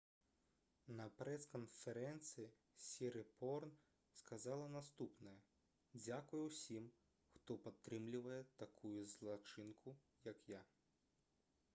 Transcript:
на прэс-канферэнцыі сірыпорн сказала наступнае: «дзякуй усім хто падтрымліваў такую злачынку як я»